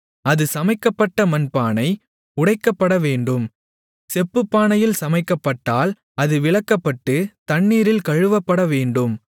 அது சமைக்கப்பட்ட மண்பானை உடைக்கப்படவேண்டும் செப்புப்பானையில் சமைக்கப்பட்டால் அது விளக்கப்பட்டுத் தண்ணீரில் கழுவப்படவேண்டும்